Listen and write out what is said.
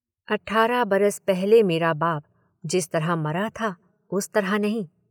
अठारह बरस पहले मेरा बाप जिस तरह मरा था, उस तरह नहीं।